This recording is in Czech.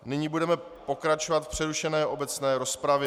Nyní budeme pokračovat v přerušené obecné rozpravě.